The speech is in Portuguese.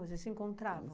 Vocês se encontravam?